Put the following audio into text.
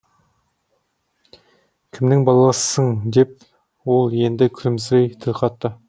кімнің баласысың деп ол енді күлімсірей тіл қатты